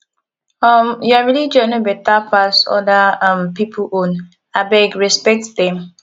um your religion no beta pass other um pipu own abeg respect dem